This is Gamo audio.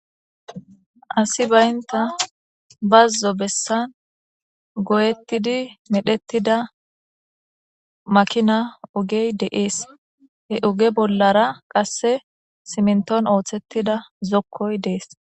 asi baynta bazzo bessan goyettidi medhettida makina ugey deees he oge bollara qasse siminton ooththettida zokkoy dees